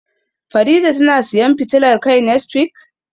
Farida tana siyan fitilar kai next week,?